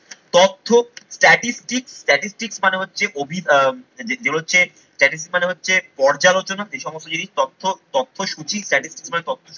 তথ্য statistics, statistics মানে হচ্ছে যে হচ্ছে statistics মানে হচ্ছে পর্যালোচনা, সেই সমস্ত জিনিস তথ্য, তথ্য সূচি, statistics মানে